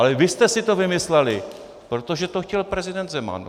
Ale vy jste si to vymysleli, protože to chtěl prezident Zeman.